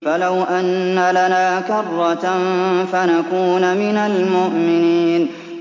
فَلَوْ أَنَّ لَنَا كَرَّةً فَنَكُونَ مِنَ الْمُؤْمِنِينَ